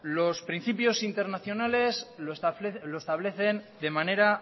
los principios internacionales lo establecen de manera